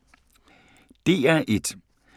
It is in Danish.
DR1